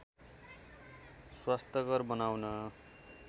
स्वस्थकर बनाउन